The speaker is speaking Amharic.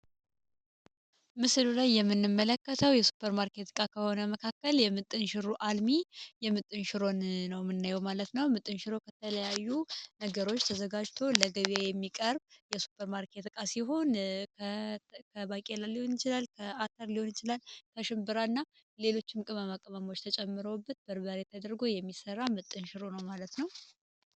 ምስሉ ላይ የምንም መለከተው የሱፐር ማርኬት እቃ ከሆነ መካከል የምጥን ሽሮ አልሚ የምጥንሽሮን ነው። ምናዩ ማለት ነው ምጥንሽሮ ከተለያዩ ነገሮች ተዘጋጅቶ ለግቢ የሚቀርብ የሱፐርማርኬት እቃ ሲሆን ከባቄላ ሊሆን ይችላል፣ አተር ሊሆን ይችላል፣ ከሽንብራ እና ሌሎች ምቅመም አቀመሞች ተጨምረውበት በርባር የተደርገ የሚሰራ ምጥንሽሮ ነው ማለት ነው።